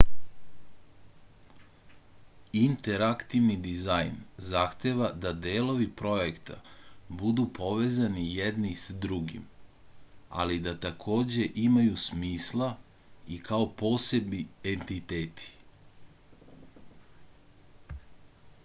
interaktivni dizajn zahteva da delovi projekta budu povezani jedni s drugim ali da takođe imaju smisla i kao posebni entiteti